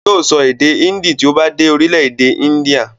Yóò sọ èdè índì tí ó bá dé orílẹ̀-èdè índíà.